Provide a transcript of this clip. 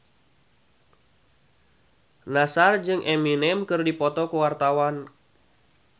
Nassar jeung Eminem keur dipoto ku wartawan